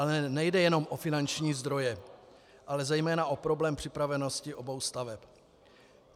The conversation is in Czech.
Ale nejde jenom o finanční zdroje, ale zejména o problém připravenosti obou staveb.